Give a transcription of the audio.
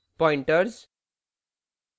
pointers